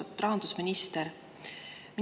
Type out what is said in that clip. Austatud rahandusminister!